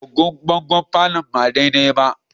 Agogon bangon palour ba daidai ba